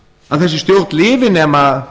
að þessi stjórn lifi nema